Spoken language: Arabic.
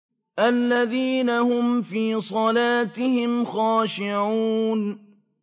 الَّذِينَ هُمْ فِي صَلَاتِهِمْ خَاشِعُونَ